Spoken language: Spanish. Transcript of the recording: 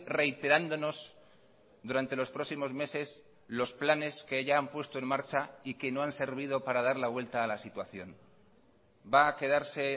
reiterándonos durante los próximos meses los planes que ya han puesto en marcha y que no han servido para dar la vuelta a la situación va a quedarse